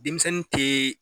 Denmisɛnnin tɛɛ.